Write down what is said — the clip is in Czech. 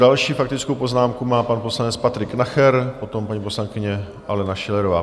Další faktickou poznámku má pan poslanec Patrik Nacher, potom paní poslankyně Alena Schillerová.